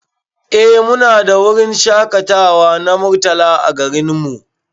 Eh Mu na da wurin shakatawa na Murtala a garin mu.